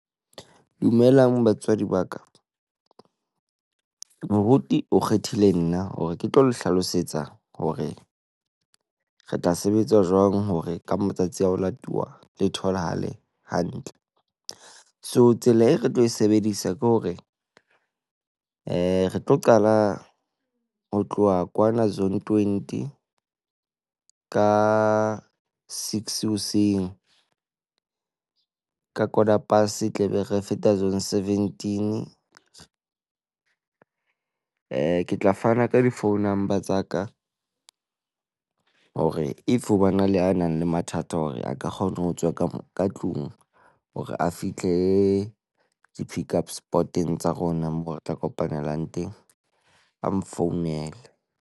Dumelang, batswadi ba ka. Moruti o kgethile nna hore ke tlo le hlalosetsa hore re tla sebetsa jwang hore ka matsatsi a ho latuwa le tholahale hantle. So, tsela eo re tlo e sebedisa ke hore re tlo qala ho tloha kwana Zone twenty. Ka six hoseng ka Corder Price tlabe re feta Zone seventeen. Eh, ke tla fana ka di phone number tsa ka hore if ho bana le a nang le mathata hore a ka kgona ho tswa ka ka tlung hore a fihle di-pickup spot-eng tsa rona moo re tla kopanelang teng, a mfounele.